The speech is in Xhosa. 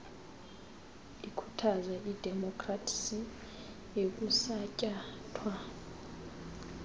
ikhuthaza idemopkhrasi ekuthatyathwa